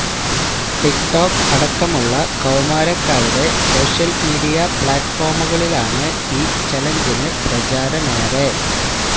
ടിക് talk അടക്കമുള്ള കൌമാരക്കാരുടെ social media പ്ലാറ്റ്ഫോമുകളിലാണ് ഈ ചലഞ്ചിന് പ്രചാരമേറെ